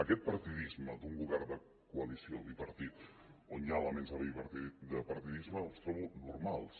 aquest partidisme d’un govern de coalició bipartit on hi ha elements de partidisme els trobo normals